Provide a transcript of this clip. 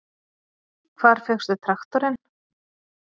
Hvar fékkstu traktorinn?